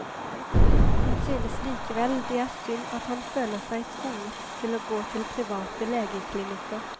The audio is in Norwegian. Han synes likevel det er synd at han føler seg tvunget til å gå til private legeklinikker.